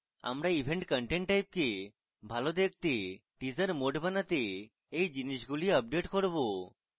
আমরা event content type কে ভালো দেখতে teaser mode বানাতে we জিনিসগুলি আপডেট করব